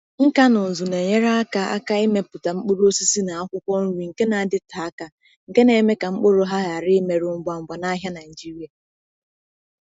Nka na ụzụ na-enyere aka aka ịmepụta mkpụrụ osisi na akwụkwọ nri nke na-adịte aka, nke na-eme ka mkpụrụ ha ghara imerụ ngwa ngwa n’ahịa Nigeria.